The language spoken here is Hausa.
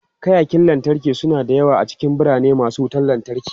Kayakin lantarki suna da yawa a cikin birane masu wutan lantarki.